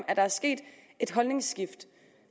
at der sket et holdningsskift